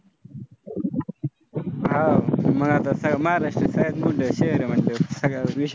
हां मग आता महाराष्ट्र सगळ्या विशेष